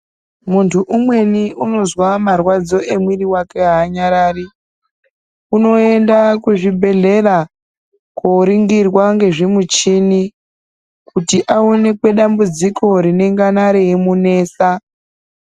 Muntu umweni unozwa marwadzo emwiri vake haanyarari unoenda kuzvibhedhlera koringirwa ngezvimuchini kuti aonekwe dambudziko rinengana reimunetsa .